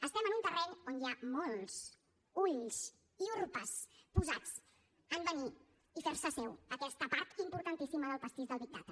estem en un terreny on hi ha molts ulls i urpes posats a venir i fer se seva aquesta part importantíssima del pastís de les big data